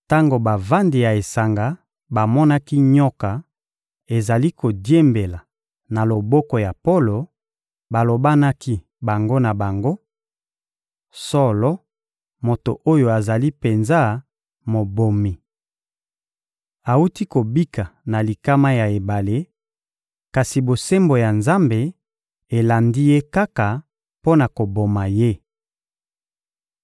Tango bavandi ya esanga bamonaki nyoka ezali kodiembela na loboko ya Polo, balobanaki bango na bango: — Solo, moto oyo azali penza mobomi! Awuti kobika na likama ya ebale, kasi bosembo ya Nzambe elandi ye kaka mpo na koboma ye!